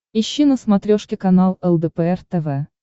ищи на смотрешке канал лдпр тв